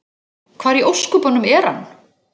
Hvar í ósköpunum er hann?